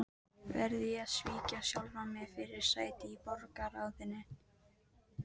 Verð ég að svíkja sjálfan mig fyrir sæti í borgarráðinu?